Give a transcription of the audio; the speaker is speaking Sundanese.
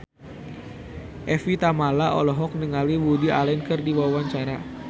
Evie Tamala olohok ningali Woody Allen keur diwawancara